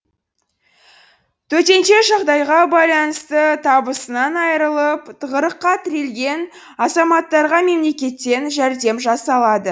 төтенше жағдайға байланысты табысынан айырылып тығырыққа тірелген азаматтарға мемлекеттен жәрдем жасалады